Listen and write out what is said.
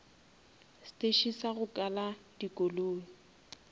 steše sa go kala dikoloi